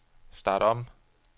start om